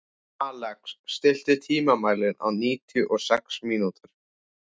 Alex, stilltu tímamælinn á níutíu og sex mínútur.